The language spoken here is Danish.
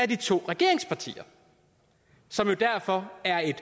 de to regeringspartier som jo derfor er et